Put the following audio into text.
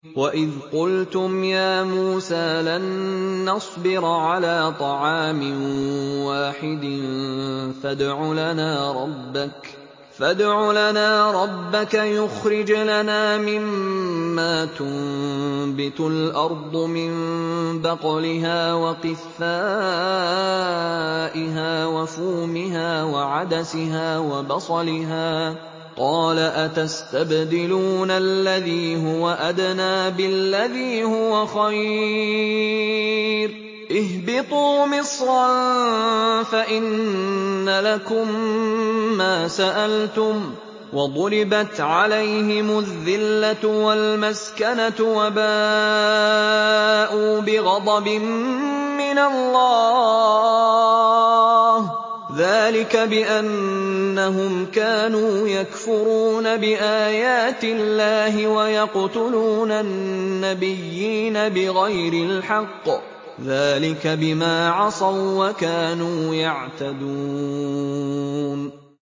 وَإِذْ قُلْتُمْ يَا مُوسَىٰ لَن نَّصْبِرَ عَلَىٰ طَعَامٍ وَاحِدٍ فَادْعُ لَنَا رَبَّكَ يُخْرِجْ لَنَا مِمَّا تُنبِتُ الْأَرْضُ مِن بَقْلِهَا وَقِثَّائِهَا وَفُومِهَا وَعَدَسِهَا وَبَصَلِهَا ۖ قَالَ أَتَسْتَبْدِلُونَ الَّذِي هُوَ أَدْنَىٰ بِالَّذِي هُوَ خَيْرٌ ۚ اهْبِطُوا مِصْرًا فَإِنَّ لَكُم مَّا سَأَلْتُمْ ۗ وَضُرِبَتْ عَلَيْهِمُ الذِّلَّةُ وَالْمَسْكَنَةُ وَبَاءُوا بِغَضَبٍ مِّنَ اللَّهِ ۗ ذَٰلِكَ بِأَنَّهُمْ كَانُوا يَكْفُرُونَ بِآيَاتِ اللَّهِ وَيَقْتُلُونَ النَّبِيِّينَ بِغَيْرِ الْحَقِّ ۗ ذَٰلِكَ بِمَا عَصَوا وَّكَانُوا يَعْتَدُونَ